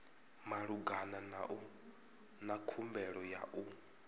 malugana na khumbelo ya u